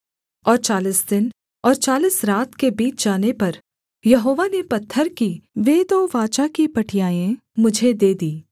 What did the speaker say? और चालीस दिन और चालीस रात के बीत जाने पर यहोवा ने पत्थर की वे दो वाचा की पटियाएँ मुझे दे दीं